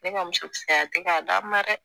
Ne ka musokisɛya tɛ k'a d'a ma dɛ